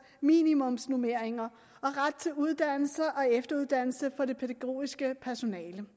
minimumsnormeringer og ret til uddannelse og efteruddannelse for det pædagogiske personale